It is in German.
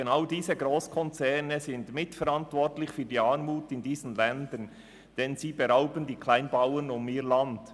Genau diese Grosskonzerne sind mitverantwortlich für die Armut in diesen Ländern, denn sie bringen die Kleinbauern um ihr Land.